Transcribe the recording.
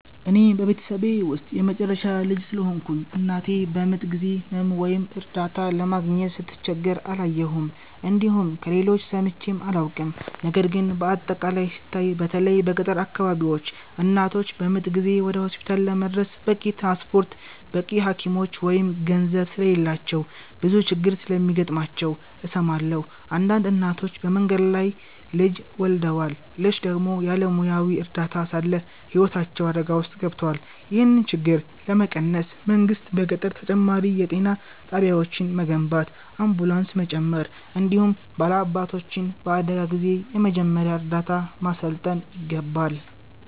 እኔ በቤተሰቤ ውስጥ የመጨረሻ ልጅ ስለሆንኩ፣ እናቴ በምጥ ጊዜ ሕመም ወይም እርዳታ ለማግኘት ስትቸገር አላየሁም፣ እንዲሁም ከሌሎች ሰምቼም አላውቅም። ነገር ግን በአጠቃላይ ሲታይ፣ በተለይ በገጠር አካባቢዎች እናቶች በምጥ ጊዜ ወደ ሆስፒታል ለመድረስ በቂ ትራንስፖርት፣ በቂ ሐኪሞች ወይም ገንዘብ ስለሌላቸው ብዙ ችግር እንደሚገጥማቸው እሰማለሁ። አንዳንድ እናቶች በመንገድ ላይ ልጅ ወልደዋል፣ ሌሎች ደግሞ ያለ ሙያዊ እርዳታ ሳለ ሕይወታቸው አደጋ ውስጥ ገብቷል። ይህን ችግር ለመቀነስ መንግሥት በገጠር ተጨማሪ የጤና ጣቢያዎችን መገንባት፣ አምቡላንስ መጨመር፣ እንዲሁም ባላባቶችን በአደጋ ጊዜ የመጀመሪያ እርዳታ ማሠልጠን ይገባል።